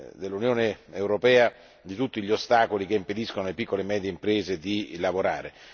dell'Unione europea da tutti quegli ostacoli che impediscono alle piccole e medie imprese di lavorare.